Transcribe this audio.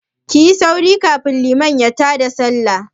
Kuyi sauri kafin liman ya ta da Sallah!